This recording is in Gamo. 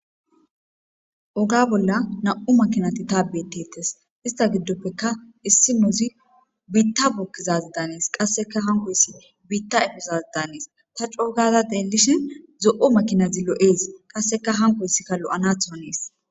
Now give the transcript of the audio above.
Oga bolla nam'u makinati tas betetes issita gidoppe issinozi benta bukizazi danes.ankoysi bitta efiza Danes. Ta c'o'u gada xelishin zo'o makinazi lo'es. Qaseka onkoysika lo'anatho hanes